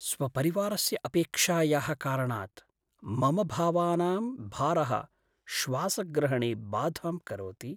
स्वपरिवारस्य अपेक्षायाः कारणात् मम भावानां भारः श्वासग्रहणे बाधां करोति।